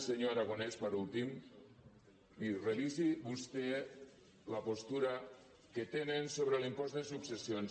senyor aragonès per últim miri revisi vostè la postura que tenen sobre l’impost de successions